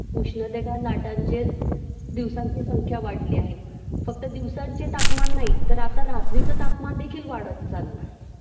उष्णतेच्या लाटांची दिवसांची संख्या वाढली आहे फक्त दिवसांचे तापमान नाही तर आता रात्रीच तापमानदेखील वाढत चाललं आहे